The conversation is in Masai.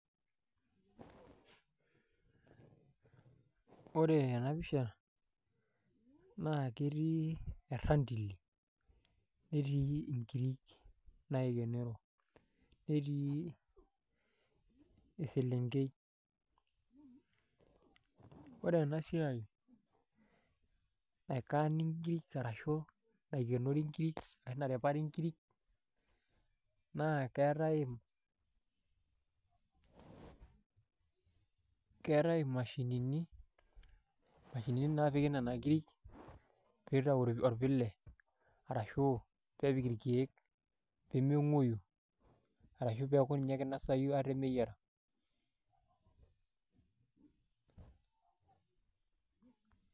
Ore ena pisha naa keetii erantili netii inkirik naikenoro netii eselenkei ore ena siai naaikaani inkirik ashuu naikenori inkirik ashu narepari inkirik naa keetai imashinini naapiki nena kirik peitayi orpile arashuu kepikii irkiek peeme ng'uoyu arashuu peeku ninye keinasayu meyiara .